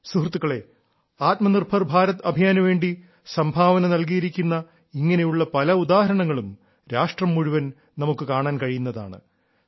സുഹൃത്തുക്കളേ ആത്മനിർഭർ ഭാരത് അഭിയാനു വേണ്ടി സംഭാവന നൽകിയിരിക്കുന്ന ഇങ്ങനെയുള്ള പല ഉദാഹരണങ്ങളും രാഷ്ട്രം മുഴുവൻ നമുക്ക് കാണാൻ കഴിയുന്നതാണ്